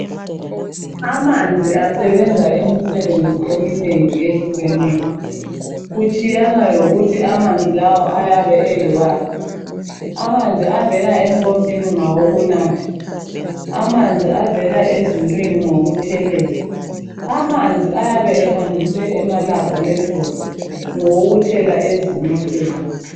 Amanzi asebenza imisebenzi eminengi ehlukeneyo, kutshiyana lokuthi amanzi lawo ayabe eyiwaphi. Amanzi avela empompini ngawokunatha, amanzi avela ezulwini ngawokuthelela, amanzi ayabe ehanjiswe emalabholethori ngawokuthela ezimoteni.